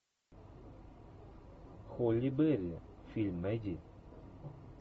холли берри фильм найди